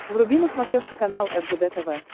вруби на смотрешке канал ржд тв